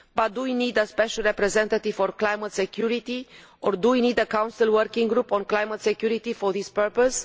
However, do we need a special representative for climate security, or do we need a Council working group on climate security, for this purpose?